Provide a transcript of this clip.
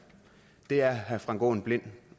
det er herre frank aaen blind